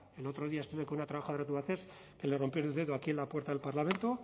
el otro día estuve con una trabajadora de tubacex que le rompieron el dedo aquí en la puerta del parlamento